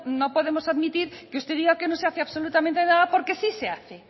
no podemos admitir que usted diga que no se hace absolutamente nada porque sí se hace